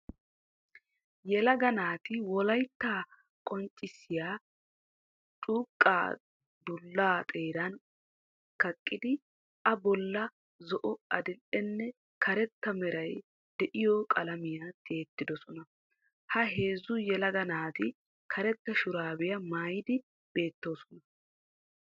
Yeelaga naati wolaytta qonccissiyaa curqqa dulla xeeran kaqqidi a bolla zo"o, adil"eenne karetta meeray deiyo qalaamiyaa tiyidosona. Ha heezzu yelaga naati karetta shurabiya maayidi beettosona.